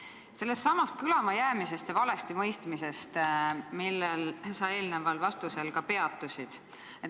Jätkan sellesama kõlamajäämise ja valestimõistmisega, millel sa eelnevas vastuses peatusid.